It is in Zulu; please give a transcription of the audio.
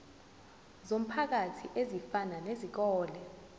zomphakathi ezifana nezikole